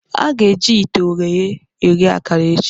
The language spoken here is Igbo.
A ga-eji ite ogheye eghe akara echi.